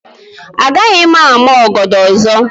Agaghị m ama ọgọdọ ọzọ.